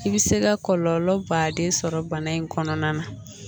I bɛ se ka kɔlɔlɔ baden sɔrɔ bana in kɔnɔna na